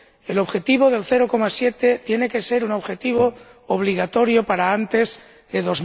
el objetivo del 0,7 tiene que ser un objetivo obligatorio para antes de